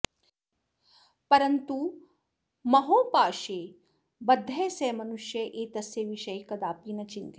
परन्तु महोपाशे बद्धः सः मनुष्यः एतस्य विषये कदापि न चिन्तयति